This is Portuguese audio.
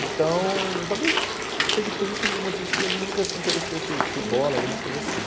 Então, talvez seja por isso um dos motivos que ele nunca se interessou por por bola, alguma coisa assim.